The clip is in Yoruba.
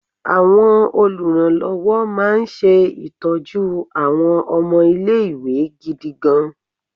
Àwọn oluranlowo máa ń ṣe ìtọ́jú àwọn ọmọ ilé-ìwé gidigan.